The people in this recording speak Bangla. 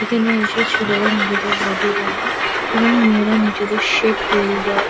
এখানে এসে ছেলেরা নিজেদের বডি বানায় এবং মেয়েরা নিজেদের সেপ তৈরী করে।